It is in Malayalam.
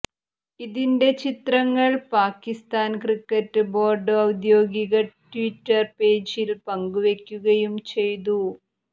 ഇതിന്റെ ചിത്രങ്ങൾ പാകിസ്താൻ ക്രിക്കറ്റ് ബോർഡ് ഔദ്യോഗിക ട്വിറ്റർ പേജിൽ പങ്കുവെയ്ക്കുകയും ചെയ്തു